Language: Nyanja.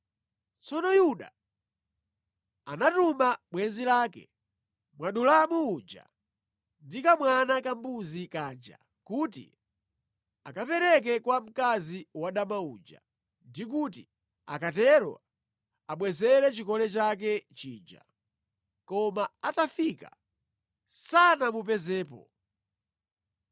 Tsono Yuda anatuma bwenzi lake Mwadulamu uja ndi kamwana kambuzi kaja kuti akapereke kwa mkazi wadama uja, ndi kuti akatero amubwezere chikole chake chija. Koma atafika sanamupezepo.